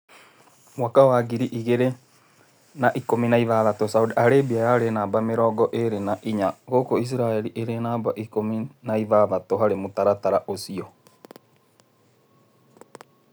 Mwaka wa ngiri igĩrĩ na ikũmi na ithathatũ, Saondi Arĩmbia yarĩ namba mĩrongo ĩrĩ na inya huku Isiraeri ĩrĩ mamba ikũmi ya ithathatũ harĩ mũtaratara ũcio.